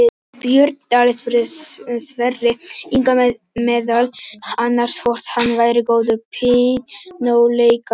Björn Daníel spurði Sverri Inga meðal annars hvort hann væri góður píanóleikari.